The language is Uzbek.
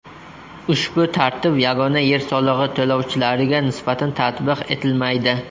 Ushbu tartib yagona yer solig‘i to‘lovchilariga nisbatan tatbiq etilmaydi.